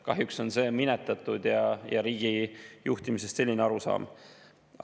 Kahjuks on see minetatud ja riigi juhtimisest selline arusaam.